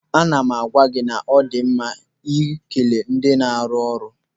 Ana m agwa gị na ọdi mma ikele ndị na-arụ ọrụ.